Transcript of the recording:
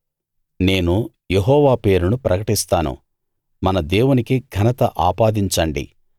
నేను యెహోవా పేరును ప్రకటిస్తాను మన దేవునికి ఘనత ఆపాదించండి